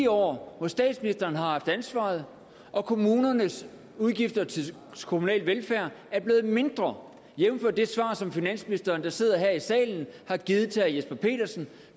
år hvor statsministeren har haft ansvaret og kommunernes udgifter til kommunal velfærd er blevet mindre jævnfør det svar som finansministeren der sidder her i salen har givet til herre jesper petersen